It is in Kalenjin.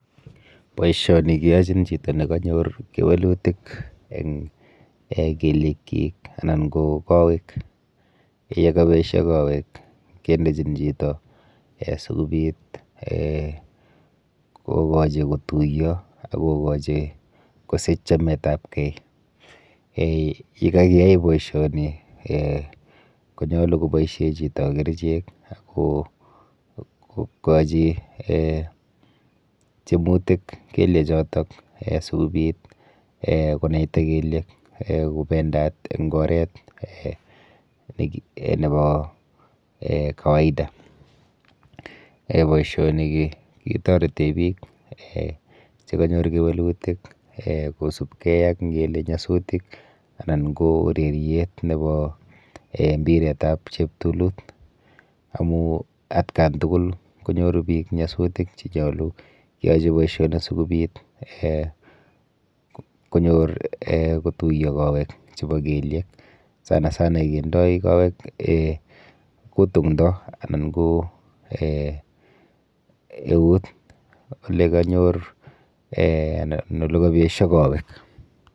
Boishoni keyochin chito nekanyor kewelutik eng um kelyekchik anan ko kowek, yekabesho kowek kendechin chito[um] asikobit um kokochi kotuiyo ak kosich chametapkei. um Yekakiyai boishoni um konyolu koboishe chito kerichek ak kwochi um tyemutik kelyechoto um sikobit um konaita kelyek um kopendat eng oret [um]nepo um kawaida. Boishoni ketorete biik um chekanyor kewelutik[um] kosubkei ak ngele nyasutik anan ko ureryet nepo um mpiretap cheptulut amu atkan tukul konyoru biik nyasutik che nyolu keyai boishoni sikobit um konyor[um] kotuiyo kowek chepo kelyek. Sanasana kendoi kowek[um] kutung'do anan ko [um]eut olekanyor olekapesho kowek.